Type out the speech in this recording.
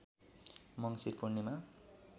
मङ्सिर पूर्णिमा